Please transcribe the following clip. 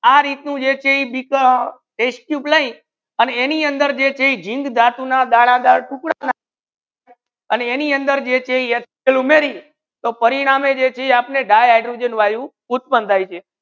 આ રીતુ જે છે ઇ જૈસે બિકા લેઇ આને એની અંદર જૈસે જીંક ધાતુ ના દાના દાર ટુકડા આને એની અંદર જે છે ઇ તો HCL પરિણામે જૈસે આપને ડાઇ હૈડ્રોજેન વાયુ ઉત્પન થાય છે.